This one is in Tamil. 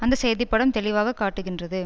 அந்த செய்தி படம் தெளிவாக காட்டுகின்றது